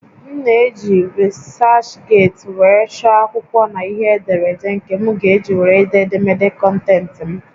M na-eji researchgate were chọọ akwụkwọ na ihe ederede nke m ga-eji were dee édémédé kọntentị m